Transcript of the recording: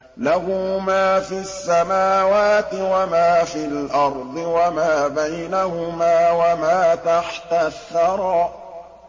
لَهُ مَا فِي السَّمَاوَاتِ وَمَا فِي الْأَرْضِ وَمَا بَيْنَهُمَا وَمَا تَحْتَ الثَّرَىٰ